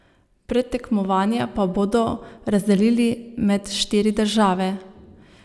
Predtekmovanja pa bodo razdelili med štiri države.